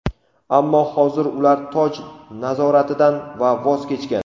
ammo hozir ular "toj" nazoratidan voz kechgan.